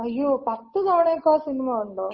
അയ്യോ പത്ത് തവണയൊക്ക ആ സിനിമ കണ്ടോ?